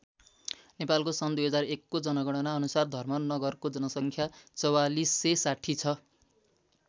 नेपालको सन् २००१ को जनगणना अनुसार धर्म नगरको जनसङ्ख्या ४४६० छ।